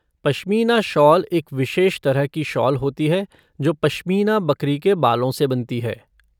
Pashmina shawl एक विशेष तरह की शॉल होती है जो पश्मीना बकरी के बालों से बनती है।